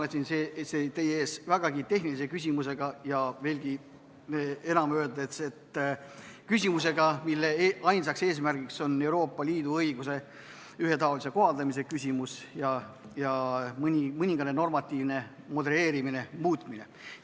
Olen siin teie ees vägagi tehnilise küsimusega ja, veelgi enam öeldes, küsimusega, mille ainus eesmärk on Euroopa Liidu õiguse ühetaolise kohaldamise küsimus ja mõningane normatiivne modelleerimine, muutmine.